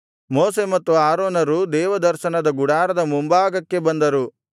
ಮೋಶೆ ಮತ್ತು ಆರೋನರು ದೇವದರ್ಶನದ ಗುಡಾರದ ಮುಂಭಾಗಕ್ಕೆ ಬಂದರು